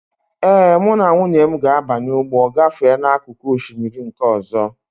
Ee, mụ na nwunye m ga-abanye ụgbọ gafee n'akụkụ osimiri nke ọzọ.